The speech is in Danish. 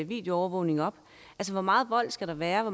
videoovervågning op hvor meget vold skal der være hvor